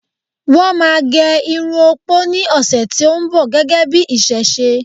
wón ma gé Irun opo ni ọsẹ ti o nbọ, gégé bi iṣẹṣe